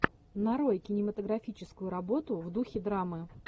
нарой кинематографическую работу в духе драмы